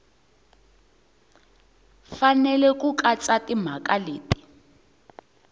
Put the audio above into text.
fanele ku katsa timhaka leti